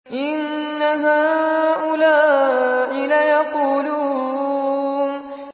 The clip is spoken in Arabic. إِنَّ هَٰؤُلَاءِ لَيَقُولُونَ